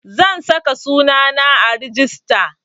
Zan saka sunana a rijista